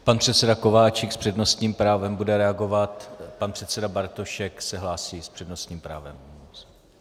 Pan předseda Kováčik s přednostním právem bude reagovat, pan předseda Bartošek se hlásí s přednostním právem.